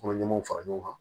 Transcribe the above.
Kɔnɔ ɲumanw fara ɲɔgɔn kan